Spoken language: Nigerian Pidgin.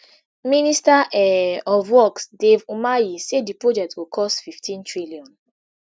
minister um of works dave umahi say di project go cost fifteen trillion